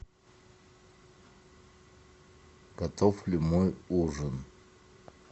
готов ли мой ужин